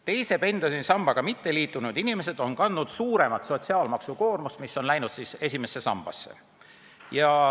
Teise pensionisambaga mitteliitunud inimesed on kandnud suuremat sotsiaalmaksukoormust, mis on läinud esimesse sambasse.